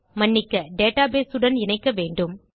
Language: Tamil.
மன்னிக்க டேட்டாபேஸ் உடன் இணைக்க வேண்டும்